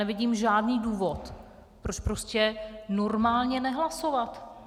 Nevidím žádný důvod, proč prostě normálně nehlasovat.